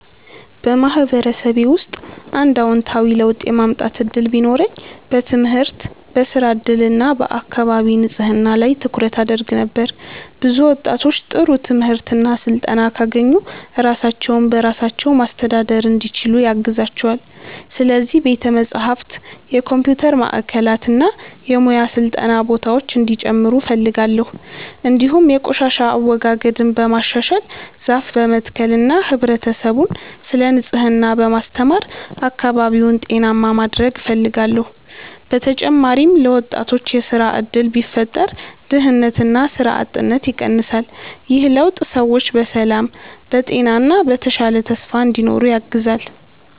በማህበረሰቤ ውስጥ አንድ አዎንታዊ ለውጥ የማምጣት እድል ቢኖረኝ በትምህርት፣ በሥራ እድል እና በአካባቢ ንጽህና ላይ ትኩረት አደርግ ነበር። ብዙ ወጣቶች ጥሩ ትምህርት እና ስልጠና ካገኙ ራሳቸውን በራሳቸው ማስተዳደር እንዲችሉ ያግዛቸዋል። ስለዚህ ቤተ መጻሕፍት፣ የኮምፒውተር ማዕከላት እና የሙያ ስልጠና ቦታዎች እንዲጨምሩ እፈልጋለሁ። እንዲሁም የቆሻሻ አወጋገድን በማሻሻል፣ ዛፍ በመትከል እና ህብረተሰቡን ስለ ንጽህና በማስተማር አካባቢውን ጤናማ ማድረግ እፈልጋለሁ። በተጨማሪም ለወጣቶች የሥራ እድል ቢፈጠር ድህነትና ሥራ አጥነት ይቀንሳል። ይህ ለውጥ ሰዎች በሰላም፣ በጤና እና በተሻለ ተስፋ እንዲኖሩ ያግዛል።